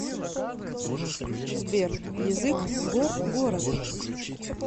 сбер язык горгород